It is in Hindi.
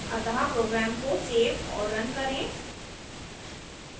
अतः program को so और रन करें